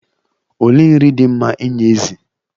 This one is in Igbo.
Olee nri dị mma inye ezì?